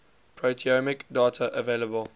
proteomic data available